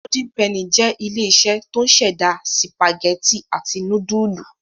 Golden penny jẹ́ ilé-iṣẹ́ tó ń ṣẹ̀dá sìpàgẹ́tì àti núdúlù.